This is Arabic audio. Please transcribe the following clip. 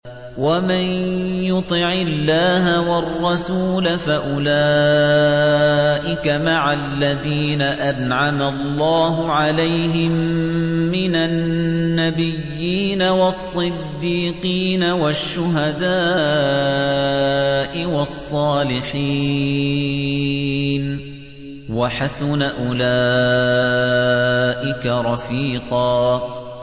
وَمَن يُطِعِ اللَّهَ وَالرَّسُولَ فَأُولَٰئِكَ مَعَ الَّذِينَ أَنْعَمَ اللَّهُ عَلَيْهِم مِّنَ النَّبِيِّينَ وَالصِّدِّيقِينَ وَالشُّهَدَاءِ وَالصَّالِحِينَ ۚ وَحَسُنَ أُولَٰئِكَ رَفِيقًا